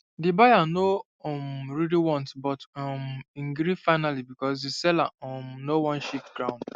the buyer no um really want but um him gree finally because the seller um no wan shift ground